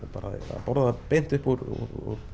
að borða það beint upp úr